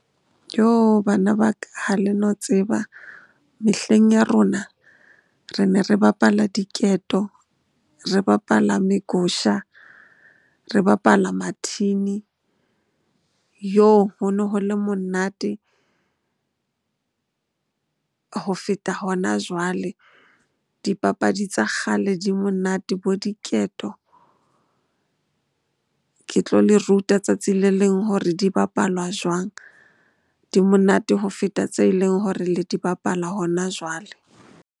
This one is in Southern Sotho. Bana ba ka, ha le no tseba mehleng ya rona re ne re bapala diketo, re bapala megusha, re bapala mathini. Ho no ho le monate ho feta hona jwale. Dipapadi tsa kgale di monate bo diketo. Ke tlo le ruta tsatsi le leng hore di bapalwa jwang? Di monate ho feta tse leng hore le di bapala hona jwale.